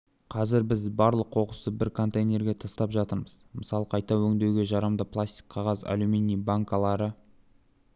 қазір біз барлық қоқысты бір контейнерге тастап жатырмыз мысалы қайта өңдеуге жарамды пластик қағаз аллюминий банкалары